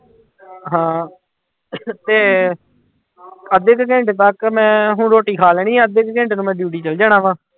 ਹਾਂ ਤੇ ਅੱਧੇ ਕੁ ਘੰਟੇ ਬਾਅਦ ਮੈਂ ਹੁਣ ਰੋਟੀ ਖਾ ਲੈਣੀ ਆਂ ਅੱਧੇ ਕੁ ਘੰਟੇ ਤੋਂ ਮੈਂ duty ਚਲੇ ਜਾਣਾ ਵਾਂ।